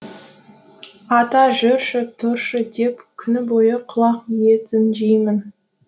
ата жүрші тұршы деп күні бойы құлақ етін жеймін